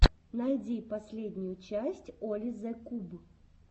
найди последнюю часть оли зе куб